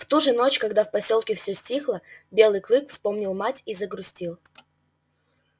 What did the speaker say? в ту же ночь когда в посёлке все стихло белый клык вспомнил мать и загрустил